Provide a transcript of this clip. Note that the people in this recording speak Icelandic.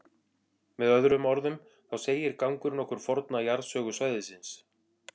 Með öðrum orðum, þá segir gangurinn okkur forna jarðsögu svæðisins.